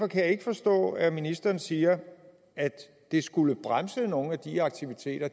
kan ikke forstå at ministeren siger at det skulle bremse nogle af de aktiviteter